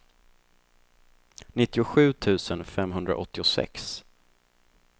nittiosju tusen femhundraåttiosex